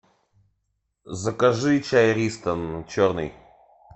закажи чай ристон черный